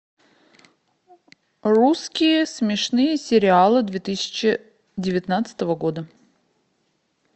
русские смешные сериалы две тысячи девятнадцатого года